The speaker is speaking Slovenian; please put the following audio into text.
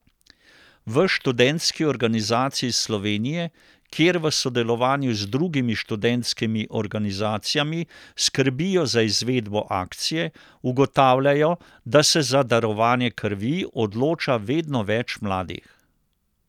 V Študentski organizaciji Slovenije, kjer v sodelovanju z drugimi študentskimi organizacijami skrbijo za izvedbo akcije, ugotavljajo, da se za darovanje krvi odloča vedno več mladih.